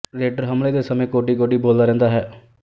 raider ਹਮਲੇ ਦੇ ਸਮੇਂ ਕੋੌਡੀ ਕੋੌਡੀਬੋਲਦਾ ਰਿਹੰਦਾ ਹੈ